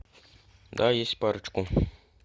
да есть парочку